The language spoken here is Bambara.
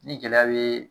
Ni gɛlɛya be